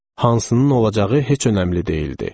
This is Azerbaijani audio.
Hansının olacağı heç önəmli deyildi.